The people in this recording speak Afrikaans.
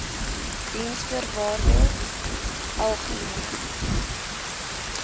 diensvoorwaardesalgemene